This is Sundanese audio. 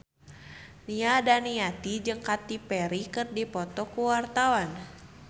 Nia Daniati jeung Katy Perry keur dipoto ku wartawan